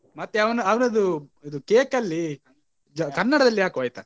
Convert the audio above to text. ಮತ್ತೆ ಅವನ ಅವನದ್ದು ಇದು cake ಅಲ್ಲಿ ಜ~ ಕನ್ನಡದಲ್ಲಿ ಹಾಕುವ ಆಯ್ತಾ?